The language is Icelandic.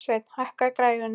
Sveinn, hækkaðu í græjunum.